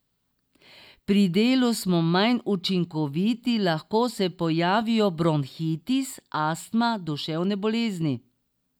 Pri delu smo manj učinkoviti, lahko se pojavijo bronhitis, astma, duševne bolezni.